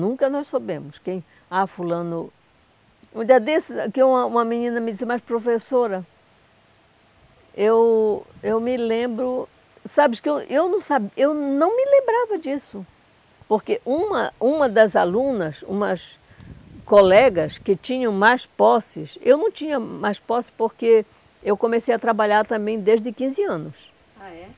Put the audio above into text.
Nunca nós soubemos quem... Ah, fulano... Um dia desses, aqui uma uma menina me disse, mas professora, eu eu me lembro... Sabes que eu, eu não sa eu não me lembrava disso, porque uma uma das alunas, umas colegas que tinham mais posses, eu não tinha mais posses porque eu comecei a trabalhar também desde quinze anos. Ah, é?